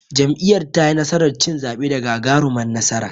Jam'iyyar tayi nasarar cin zaɓe da gagarumar nasara.